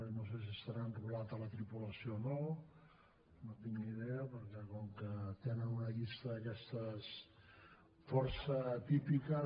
no sé si serà enrolat a la tripulació o no no en tinc ni idea perquè com que tenen una llista d’aquestes força atípiques